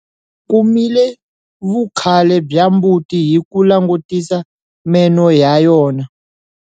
Kumile vukhale bya mbuti hi kulangutisa meno ya yona?